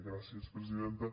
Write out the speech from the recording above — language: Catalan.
gràcies presidenta